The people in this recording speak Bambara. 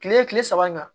Kile kile saba in kan